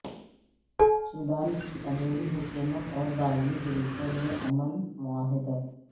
Sudan کی عبوری حکومت اور باغی گروپوں میں امن معاہدہ